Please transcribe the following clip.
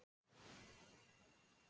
Kúlan er lögð af stað.